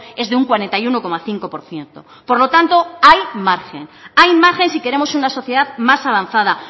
es de un cuarenta y uno coma cinco por ciento por lo tanto hay margen hay margen si queremos una sociedad más avanzada